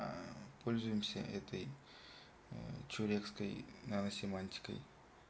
аа пользуемся этой человеческой наносемантикой